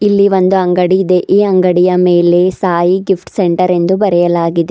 ಇಲ್ಲಿ ಒಂದು ಅಂಗಡಿ ಇದೆ ಈ ಅಂಗಡಿಯ ಮೇಲೆ ಸಾಯಿ ಗಿಫ್ಟ್ ಸೆಂಟರ್ ಎಂದು ಬರೆಯಲಾಗಿದೆ.